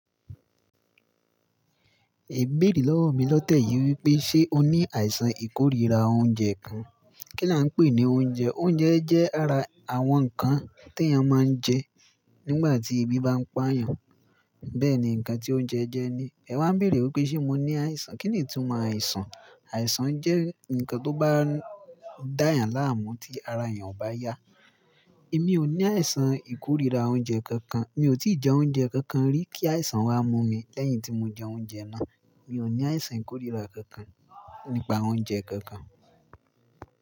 Ẹ bèrè lọ́wọ̀ mi lọ́tẹ̀ yìí wípé, ṣé o ní àìsàn ìkóríra oúnjẹ kankan? Kí là ń pè ní oúnjẹ? Oúnjẹ jẹ́ ara àwọn nǹkan tí a máa ń jẹ nígbà tí ebi bá ń pa yàn. Bẹ́ẹ̀ ni nǹkan tí oúnjẹ jẹ́ ni. Ẹ wa n bèrè wípé, ṣé mo ní àìsàn? Kíni ìtumọ̀ àìsàn? Àìsàn jẹ́ ǹkan tó bá dá èèyàn láàmú tí ara èèyàn ò bá yá. Èmi ò ní àìsàn ìkóríra oúnjẹ kankan. Mi ò tíì jẹ oúnjẹ kankan rí kí àìsàn wá mú mi lẹ́yìn tí mo jẹ oúnjẹ náà. Mi ò ní àìsàn ìkóríra kankan nípa oúnjẹ kankan.